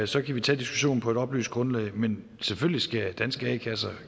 så kan vi tage diskussionen på et oplyst grundlag men selvfølgelig skal danske a kasser